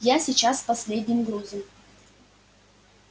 я сейчас с последним грузом